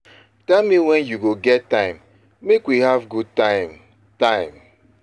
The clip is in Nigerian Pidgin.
Tell me when you go get time make we have good time time